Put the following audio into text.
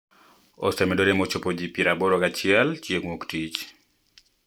Osemedore mochopo ji pier aboro gachiel chieng ' Wuok Tich.